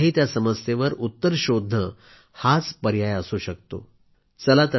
उलट आहे त्या समस्येवर उत्तर शोधणे हाच पर्याय असू शकतो